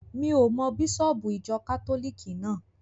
Mi ò mọ bísọ̀bù ìjọ kátólìkì náà.